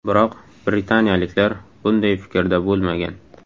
Biroq britaniyaliklar bunday fikrda bo‘lmagan.